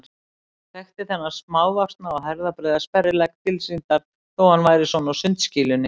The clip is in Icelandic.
Þekkti þennan smávaxna og herðabreiða sperrilegg tilsýndar þó að hann væri svona á sundskýlunni.